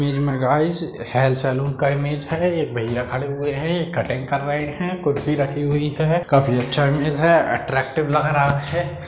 Image मे guys hair salon का image है एक भैया खड़े हुए है कटिंग कर रहे है कुर्सी रखी हुई है काफी अच्छा इमेज है अट्रेकटिव लग रहा है।